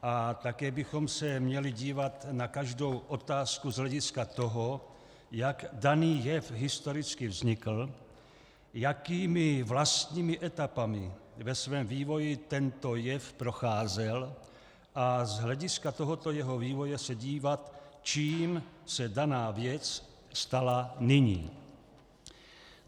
A také bychom se měli dívat na každou otázku z hlediska toho, jak daný jev historicky vznikl, jakými vlastními etapami ve svém vývoji tento jev procházel, a z hlediska tohoto jeho vývoje se dívat, čím se daná věc stala nyní.